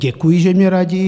Děkuji, že mně radí.